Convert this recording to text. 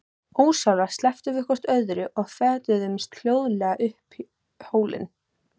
Ósjálfrátt slepptum við hvort öðru og fetuðum hljóðlega upp hólinn.